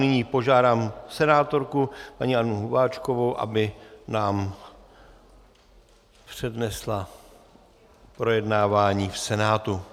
Nyní požádám senátorku, paní Annu Hubáčkovou, aby nám přednesla projednávání v Senátu.